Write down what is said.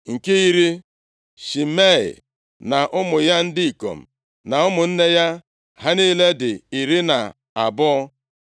Nke iri, Shimei na ụmụ ya ndị ikom na ụmụnne ya. Ha niile dị iri na abụọ (12).